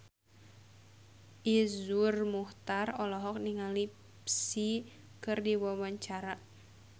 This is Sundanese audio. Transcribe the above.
Iszur Muchtar olohok ningali Psy keur diwawancara